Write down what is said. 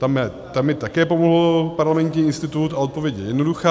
Tam mi také pomohl Parlamentní institut a odpověď je jednoduchá.